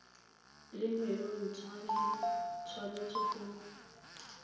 le menontsha e tshwanetse go